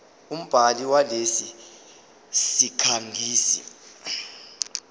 umbhali walesi sikhangisi